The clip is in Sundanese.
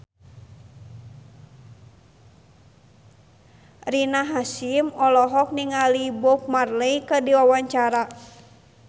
Rina Hasyim olohok ningali Bob Marley keur diwawancara